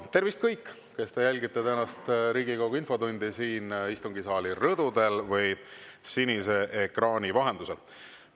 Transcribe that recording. Tervist, kõik, kes te jälgite tänast Riigikogu infotundi siin istungisaali rõdudel või sinise ekraani vahendusel!